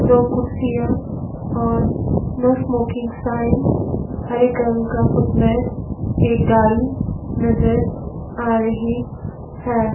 दो कुर्सियां और नो स्मोकिंग साइन हर एक रंग का फुट मैट एक गाड़ी नजर आ रही है।